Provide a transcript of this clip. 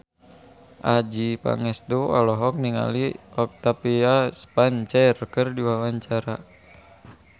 Adjie Pangestu olohok ningali Octavia Spencer keur diwawancara